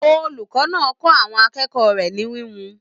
Olùkọ náà kọ àwọn akẹ́kọ̀ọ́ rẹ ní híhun.